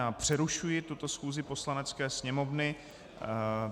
Já přerušuji tuto schůzi Poslanecké sněmovny.